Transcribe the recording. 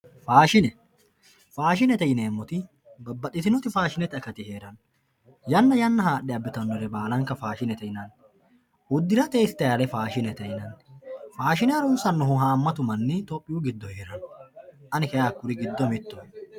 faashine faashinete yineemoti babbaxitinoti faashinete akati heeranna yanna yanna haaxe abbitanore baalanka faashinete yinanni udirate istayiile faashinete yinanni faashine harunsaahu haamatu manni tophiyuu giddo heeranno ani kayi hakkuri giddo mittoho.